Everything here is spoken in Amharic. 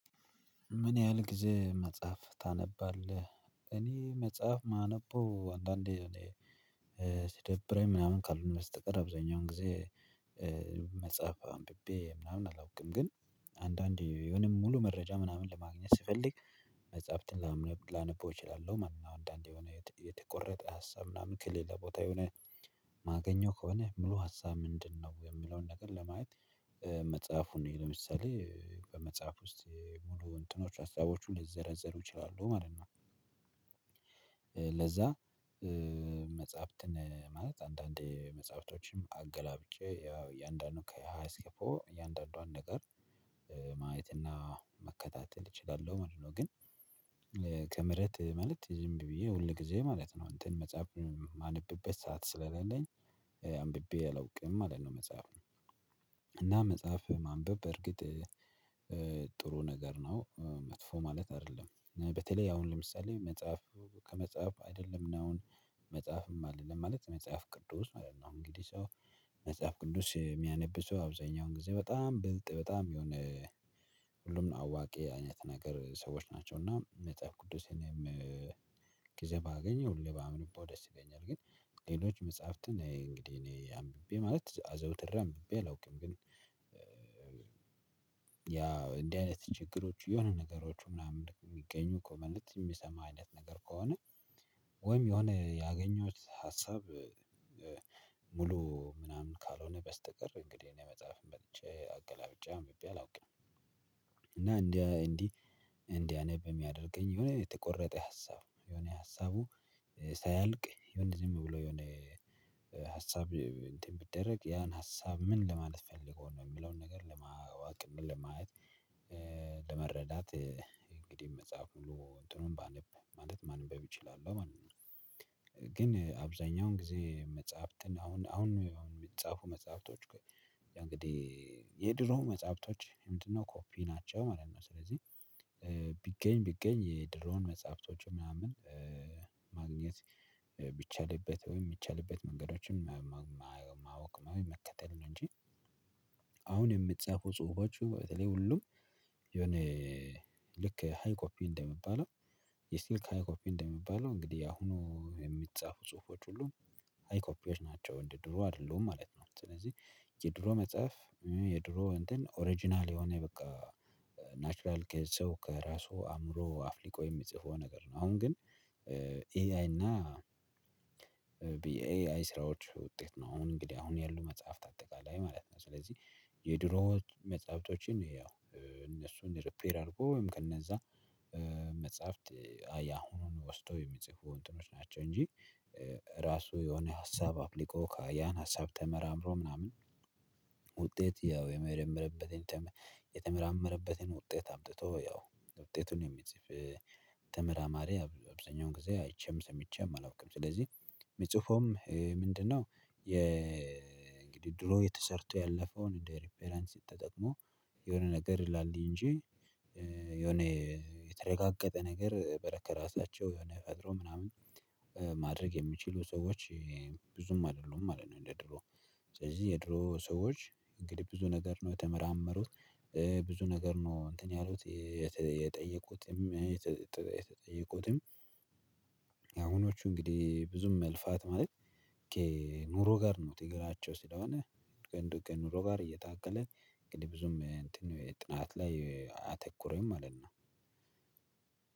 ምን ያህል ጊዜ መጽሐፍ ታነባለህ? እኔ መጽሐፍ ማነበው አንዳንዴ ሲደብረኝ ምናምን ካልሆነ በስተቀር አብዛኛውን ጊዜ መጽሐፍ አንብቤ ምናምን አላውቅም። ግን አንዳንዴ የሆነ ሙሉ መረጃ ምናምን ለማግኘት ስፈልግ መጽሐፍትን ላነበው እችላለሁ። ማለት ንነው አንዳንዴ የሆነ የተቆረጠ ሀሳብ ምናምን ከሌለ ቦታ የሆነ ማገኘው ከሆነ ሙሉ ሀሳብ ምንድነው የሚለውን ነገር ለማየት መጽሐፉን ለምሳሌ በመጽሐፍ ውስጥ ሙሉ እንትኖች ሀሳቦች ሊዘረዝሩ ይችላሉ ማለት ነው። ለዛ መጽሐፍትን ማለት አንዳንዴ መጽሐፍቶችንም አገላብጬ ያው እያንዳንዱ ከሃያ እስከ ፖ እያንዳንዷን ነገር ማየትና መከታተል እችላለሁ ማለት ነው። ግን ከመሬት ማለት ዝም ብዬ ሁል ጊዜ ማለት ነው እንትን መጽሐፍ የማነብበት ሰዓት ስለሌለኝ አንብቤ አላውቅም አይደል ነው። መጽሐፍ እና መጽሐፍ ማንበብ በርግጥ ጥሩ ነገር ነው። መጥፎ ማለት አይደለም በተለይ አሁን ለምሳሌ መጽሐፍ ከመጽሐፍ አይደለም ነው አሁን መጽሐፍም አይደለም ማለት መጽሐፍ ቅዱስ ነው። እንግዲህ ሰው መጽሐፍ ቅዱስ የሚያነብ ሰው አብዛኛውን ጊዜ በጣም ብልጥ በጣም የሆነ ሁሉን አዋቂ አይነት ነገር ሰዎች ናቸው። እና መጽሐፍ ቅዱስንም ባገኘው ለባምንቦ ደስ ይለኛል። ግን ሌሎች መጽሐፍትን እንግዲህ እኔ አንብቤ ማለት አዘውትር አምብቤ አላውቅም። ግን ያው እንዲህ አይነት ችግሮች የሆነ ነገሮች ምናምን የሚገኙ ኮመንት የሚሰማ አይነት ነገር ከሆነ ወይም የሆነ ያገኘሁት ሀሳብ ሙሉ ምናምን ካልሆነ በስተቀር እንግዲህ የመጽሐፍን መጥቼ አገላብጫ አምብቤ አላውቅም። እና እንዲህ እንዲህ እንዲህ አነብ የሚያደርገኝ የሆነ የተቆረጠ ሀሳብ የሆነ ሀሳቡ ሳያልቅ የሆነ ደግሞ ብሎ የሆነ ሀሳብ እንትን ቢደረግ ያን ሀሳብ ምን ለማለት ፈልጎ ነው የሚለውን ነገር ለማወቅ ለማየት ለመረዳት እንግዲህ መጽሐፍ ሁሉ እንትኑን ባልብ ማለት ማንም በብ ይችላል ማለት ነው። ግን አብዛኛውን ጊዜ መጽሐፍትን አሁን አሁን የምጻፉ መጽሐፍቶች እንግዲህ የድሮ መጽሐፍቶች ምንድነው ኮፒ ናቸው? ማለት ነው ስለዚህ ቢገኝ ቢገኝ የድሮን መጽሐፍቶች ምናምን ማግኘት ቢቻልበት ወይም የሚቻልበት መንገዶችን ማወቅ መከተል እንጂ አሁን የምጻፉ ጽሁፎቹ በተለይ ሁሉም የሆነ ልክ ሃይ ኮፒ እንደሚባለው የስቲል ሃይ ኮፒ እንደሚባለው እንግዲህ አሁኑ የሚጻፉ ጽሁፎች ሁሉ ሃይ ኮፒዎች ናቸው እንዴ ድሮ አይደለሁም ማለት ነው። ስለዚህ የድሮ መጽሐፍ የድሮ እንትን ኦሪጅናል የሆነ በቃ ናቹራል ከየት ሰው ከራሱ አእምሮ አፍሊቆ የሚጽፈው ነገር ነው። አሁን ግን ኤአይ እና ብዬ ኤአይ ስራዎች ውጤት ነው አሁን እንግዲህ አሁን ያሉ መጽሐፍ ታጠቃላላይ ማለት ነው። ስለዚህ የድሮ መጽሐፍቶችን ያው እነሱን ሪፒር አርጎ ወይም ከነዛ መጽሐፍት አያሁኑን ወስጦ የሚጽፉ እንጥሮች ናቸው። እንጂ ራሱ የሆነ ሀሳብ አፕልቆ ያን ሀሳብ ተመራምሮ ምናምን ውጤት ያው የመረመረበትን የተመራመረበትን ውጤት አምጥቶ ያው ውጤቱን የሚጽፍ ተመራማሪ አብዛኛውን ጊዜ አይቼም ሰምቼም አላውቅም። ስለዚህ የሚጽፈውም ምንድነው የእንግዲህ ድሮ ተሰርቶ ያለፈውን እንደ ሪፐራንስ ሲጠቅመው የሆነ ነገር ላለኝ እንጂ የሆነ የተረጋገጠ ነገር በረከረ ራሳቸው የሆነ ፈጥሮ ምናምን ማድረግ የሚችሉ ሰዎች ብዙም አይደሉም ማለት ነው። እንደ ድሮ ስለዚህ የድሮ ሰዎች እንግዲህ ብዙ ነገር ነው የተመራመሩት ብዙ ነገር ነው እንትን ያሉት። የተጠየቁትም የተጠየቁትም አሁኖቹ እንግዲህ ብዙም መልፋት ማለት ከኑሮ ጋር ነው። ትግራቸው ስለሆነ ግን ኑሮ ጋር እየታከለ እንግዲህ ብዙም እንትን ጥናት ላይ አተኩሮኝ ማለት ነው።